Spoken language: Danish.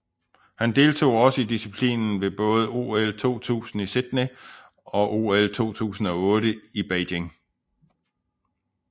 Han deltog også i disciplinen ved både OL 2000 i Sydney og OL 2008 i Beijing